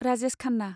Rajesh Khanna